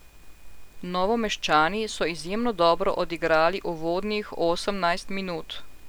Novomeščani so izjemno dobro odigrali uvodnih osemnajst minut.